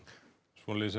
svoleiðis er